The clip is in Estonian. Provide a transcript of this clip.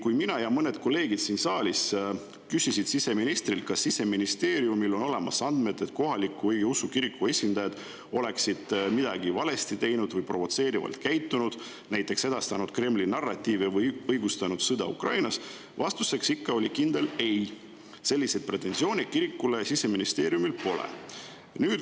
Kui mina ja mõned kolleegid siin saalis küsisime siseministrilt, kas Siseministeeriumil on olemas andmed, et kohaliku õigeusu kiriku esindajad oleksid midagi valesti teinud või provotseerivalt käitunud, näiteks edastanud Kremli narratiive või õigustanud sõda Ukrainas, siis vastuseks oli ikka kindel ei, selliseid pretensioone kirikule Siseministeeriumil pole.